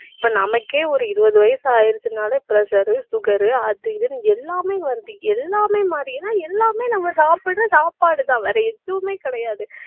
இப்ப நமக்கே ஒரு இருபது வயசு ஆயிருச்சுன்னாலே pressure, sugar அது இதுன்னு எல்லாமே வருது. எல்லாமே எல்லாமே நம்ம சாப்பிடுற சாப்பாடுதான் வேற எதுவுமே கிடையாது